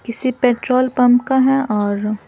किसी petrol pump का है और--